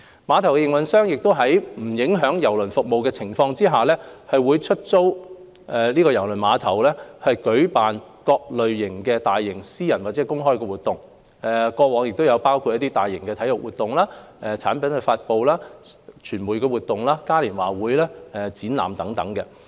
碼頭營運商亦會在不影響郵輪服務的情況下，出租郵輪碼頭舉辦各類大型私人或公開的活動，包括大型體育活動、產品發布、傳媒活動、嘉年華會和展覽等。